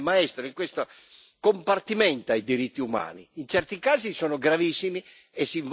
Ma si sa questa Europa l'Alto rappresentante ne è maestro in questo compartimenta i diritti umani.